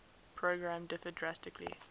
program differed drastically